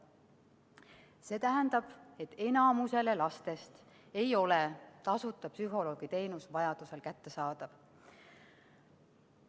See tähendab, et enamikule lastest ei ole tasuta psühholoogiteenus vajaduse korral kättesaadav.